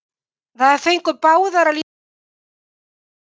Þær fengu báðar að líta gula spjaldið í dag.